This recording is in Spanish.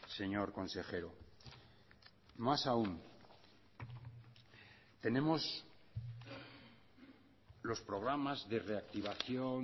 señor consejero más aun tenemos los programas de reactivación